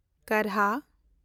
ᱠᱟᱨᱦᱟ